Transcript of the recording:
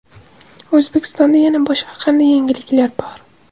O‘zbekistonda yana boshqa qanday yangiliklar bor?